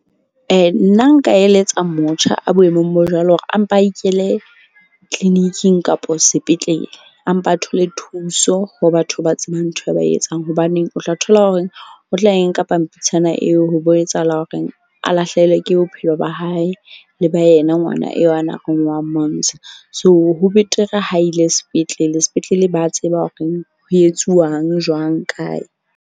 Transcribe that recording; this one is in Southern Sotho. Nna nka eletsa motjha a boemong bo jwalo hore a mpa a ikele clinic-ing kapa sepetlele. A mpe a thole thuso ho batho ba tsebang ntho e ba etsang. Hobaneng o tla thola horeng o tla e nka pampitshana eo ho bo etsahala horeng a lahlehelwe ke bophelo ba hae. Le ba yena ngwana eo a neng a re o a mo ntsha. So, ho betere ha ile sepetlele. Sepetlele ba a tseba horeng ho etsuwang jwang, kae.